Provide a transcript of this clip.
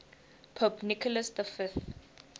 pope nicholas v